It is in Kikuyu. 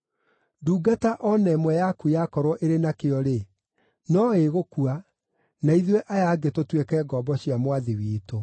Ndungata o na ĩmwe yaku yakorwo ĩrĩ nakĩo-rĩ, no ĩgũkua, na ithuĩ aya angĩ tũtuĩke ngombo cia mwathi witũ.”